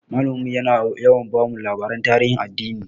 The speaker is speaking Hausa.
Malamin mu yana yawa bamu labaran tarihin addini.